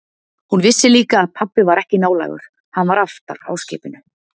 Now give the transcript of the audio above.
Hún vissi líka að pabbi var ekki nálægur, hann var aftar á skipinu.